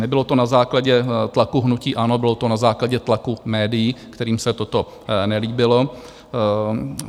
Nebylo to na základě tlaku hnutí ANO, bylo to na základě tlaku médií, kterým se toto nelíbilo.